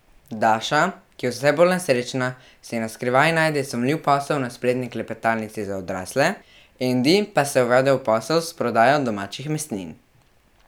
Daša, ki je vse bolj nesrečna, si na skrivaj najde sumljiv posel na spletni klepetalnici za odrasle, Endi pa se uvede v posel s prodajo domačih mesnin.